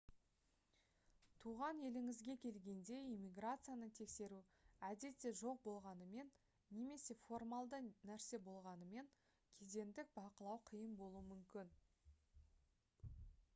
туған еліңізге келгенде иммиграцияны тексеру әдетте жоқ болғанымен немесе формалды нәрсе болғанымен кедендік бақылау қиын болуы мүмкін